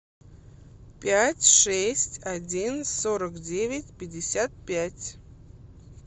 пять шесть один сорок девять пятьдесят пять